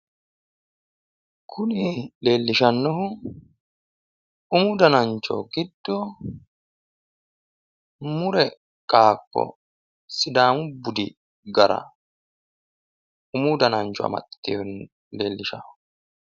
kuni leellishannohu umu danancho giddo, mure qaaqqo sidaamu budi gara umu danancho amaxxitewo leellishanno.